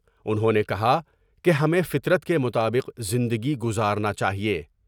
انہوں نے کہا کہ ہمیں فطرت کے مطابق زندگی گزار ناچا ہے ۔